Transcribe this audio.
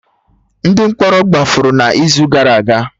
Ndị mkpọrọ gbafuru n'izu gara aga